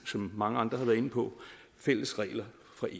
som mange andre har været inde på fælles regler